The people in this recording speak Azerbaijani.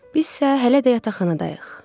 Bizsə hələ də yataqxanadayıq.